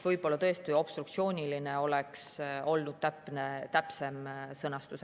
Võib-olla tõesti "obstruktsiooniline" oleks olnud täpsem sõnastus.